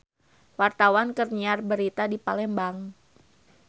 Wartawan keur nyiar berita di Palembang